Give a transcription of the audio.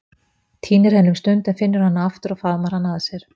Týnir henni um stund en finnur hana aftur og faðmar hana að sér.